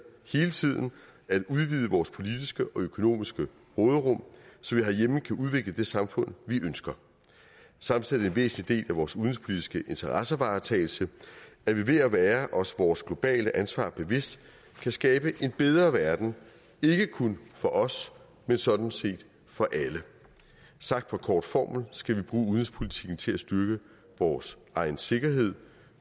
hele tiden at udvide vores politiske og økonomiske råderum så vi herhjemme kan udvikle det samfund vi ønsker samtidig en væsentlig del af vores udenrigspolitiske interessevaretagelse at vi ved at være os vores globale ansvar bevidst kan skabe en bedre verden ikke kun for os men sådan set for alle sagt på kort formel skal bruge udenrigspolitikken til at styrke vores egen sikkerhed